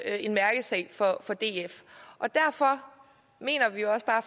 er en mærkesag for df derfor mener vi også bare